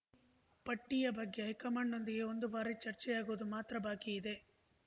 ಪಟ್ಟಿಯ ಬಗ್ಗೆ ಹೈಕಮಾಂಡ್‌ನೊಂದಿಗೆ ಒಂದು ಬಾರಿ ಚರ್ಚೆಯಾಗುವುದು ಮಾತ್ರ ಬಾಕಿಯಿದೆ